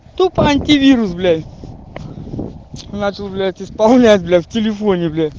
тупо антивирус блять начал бля исполнять блять в телефоне блять